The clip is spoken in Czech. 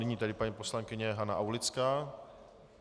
Nyní tedy paní poslankyně Hana Aulická.